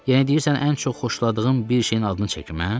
Yenə deyirsən ən çox xoşladığın bir şeyin adını çəkim hə?